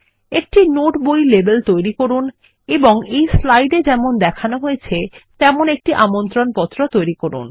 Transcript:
একটি নোট বই লেবেল তৈরি করুন এবং এই স্লাইড এ যেমন দেখানো হয়েছে তেমন একটি আমন্ত্রণপত্র তৈরী করুন